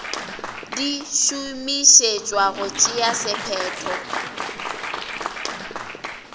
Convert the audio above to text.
di šomišetšwa go tšea sephetho